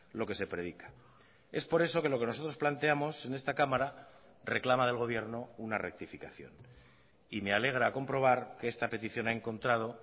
lo que se predica es por eso que lo que nosotros planteamos en esta cámara reclama del gobierno una rectificación y me alegra comprobar que esta petición ha encontrado